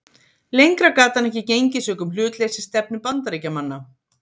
Lengra gat hann ekki gengið sökum hlutleysisstefnu Bandaríkjamanna.